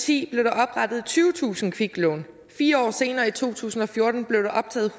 ti blev der oprettet tyvetusind kviklån fire år senere i to tusind og fjorten blev der optaget